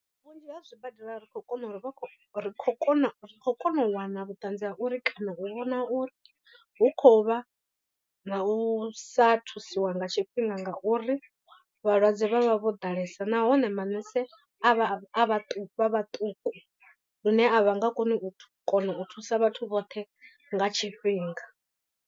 Vhunzhi ha zwibadela ri khou kona u ri vha ri khou kona ri khou kona u wana vhuṱanzi ha uri kana u vhona uri hu khou vha na u sa thusiwa nga tshifhinga. Ngauri vhalwadze vha vha vho ḓalesa nahone manese avha vha vhaṱuku lune a vha nga koni u kona u thusa vhathu vhoṱhe nga tshifhinga.